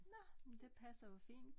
Nå men det passer jo fint